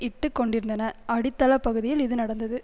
இட்டு கொண்டிருந்தனர் அடித்தளப் பகுதியில் இது நடந்தது